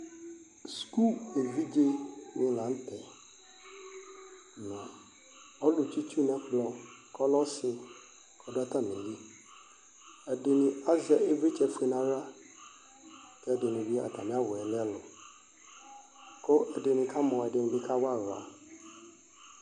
Sukuvidze dini la nu tɛ ɔlu tsitsu nu ɛkplɔ ku ɔlɛ ɔsi ku ɔdu atamili ɛdini azɛ ivlitsɛ ofue nu aɣla evidzedini bi atami awu lɛ ɛku ɛdini bi kamɔ ku ɛdini bi kawa aɣla